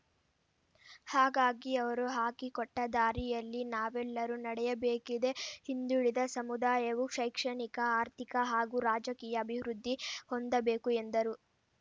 ಹಾಗಾಗಿ ಅವರು ಹಾಕಿಕೊಟ್ಟದಾರಿಯಲ್ಲಿ ನಾವೆಲ್ಲರೂ ನಡೆಯಬೇಕಿದೆ ಹಿಂದುಳಿದ ಸಮುದಾಯವು ಶೈಕ್ಷಣಿಕ ಆರ್ಥಿಕ ಹಾಗೂ ರಾಜಕೀಯ ಅಭಿವೃದ್ಧಿ ಹೊಂದಬೇಕು ಎಂದರು